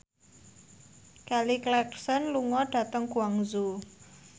Kelly Clarkson lunga dhateng Guangzhou